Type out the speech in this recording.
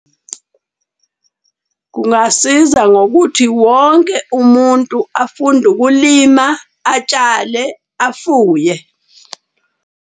Kungasiza ngokuthi wonke umuntu afunde ukulima, atshale, afuye.